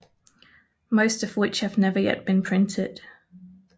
Most of Which Have Never Yet Been Printed